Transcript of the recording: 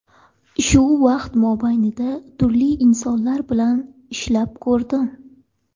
Shu vaqt mobaynida turli insonlar bilan ishlab ko‘rdim.